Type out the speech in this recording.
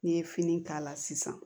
N'i ye fini k'a la sisan